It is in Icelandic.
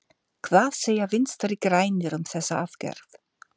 Hvað segja Vinstri-grænir um þessa aðgerð?